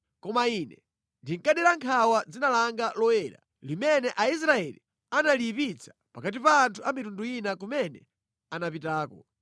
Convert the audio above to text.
Koma Ine ndinkadera nkhawa dzina langa loyera, limene Aisraeli analiyipitsa pakati pa anthu a mitundu ina kumene anapitako.